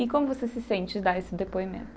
E como você se sente em dar esse depoimento?